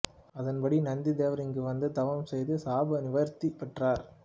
அதன்படி நந்தி தேவர் இங்கு வந்து தவம் செய்து சாப நிவர்த்தி பெற்றார்